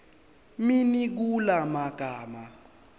muni kula magama